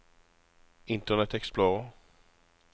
internet explorer